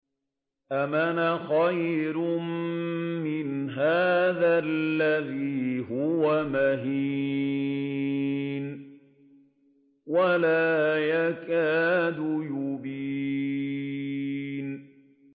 أَمْ أَنَا خَيْرٌ مِّنْ هَٰذَا الَّذِي هُوَ مَهِينٌ وَلَا يَكَادُ يُبِينُ